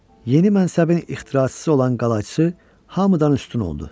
Yeni mənsəbin ixtiraçısı olan qalayçısı hamıdan üstün oldu.